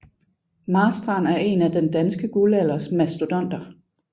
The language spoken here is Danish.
Marstrand er en af den danske guldalders mastodonter